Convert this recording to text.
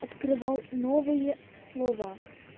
открывал новые слова